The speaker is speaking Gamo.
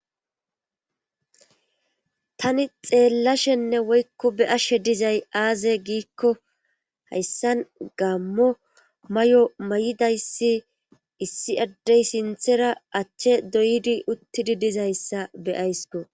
Tani xeellashenne woykko be ashshe dizay aaze giikko hayssan gaammo may'o may7idayssi issi addey sinthera achche doydi uttidi dizayssa beyaysko.